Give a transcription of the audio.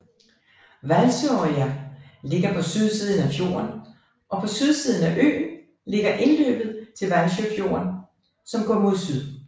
Valsøya ligger på sydsiden af fjorden og på sydsiden af øen ligger indløbet til Valsøyfjorden som går mod syd